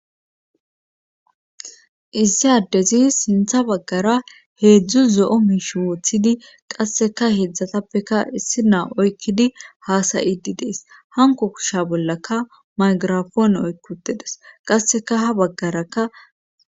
issi addezi sintha baggara heedzdzu zo'o miishi woothidi qasseka heedzdzatappeka issi naa oykkidi haasayidi dees hanko kusha bollaka maygirafoone oykki utedes qasseka ha baggarakka